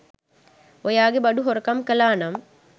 ඔයාගේ බඩු හොරකම් කළා නම්